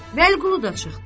Vəliqulu da çıxdı.